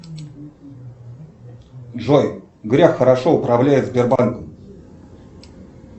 джой греф хорошо управляет сбербанком